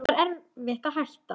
Það var erfitt að hætta.